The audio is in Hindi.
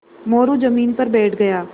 मोरू ज़मीन पर बैठ गया